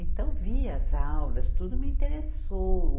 Então, vi as aulas, tudo me interessou.